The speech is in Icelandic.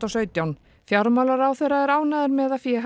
sautján fjármálaráðherra er ánægður með að féð